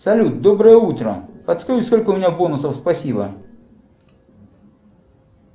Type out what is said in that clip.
салют доброе утро подскажи сколько у меня бонусов спасибо